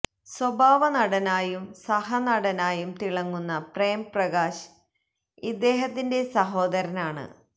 സ്വഭാവ നടനായും സഹ നടനായും തിളങ്ങുന്ന പ്രേം പ്രകാശ് ഇദ്ദേഹത്തിന്റെ സഹോദരനാണ്